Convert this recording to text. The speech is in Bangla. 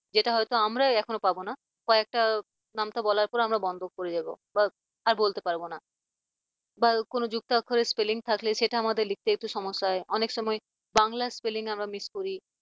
যেটা হয়তো আমরা এখনো পারবো না বা একটা নামতা বলার পর আমরা বন্ধ করে যাবো বা আর বলতে পারব না তারপর কোন যুক্তাক্ষর এর spelling থাকলে সেটা লিখতে আমাদের একটু সমস্যা হয় অনেক সময় বাংলার spelling আমরা miss করি